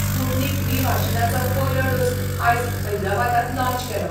Sputnik V वाशिनाचो पयलो dose आयज हैदराबादात लाँच केलो.